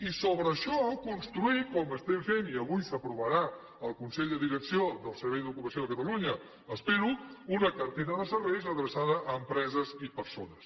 i sobre això construir com estem fent i avui s’aprovarà al consell de direcció del servei d’ocupació de catalunya espero una cartera de serveis adreçada a empreses i persones